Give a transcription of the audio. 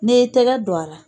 N'i y'i tɛgɛ don a la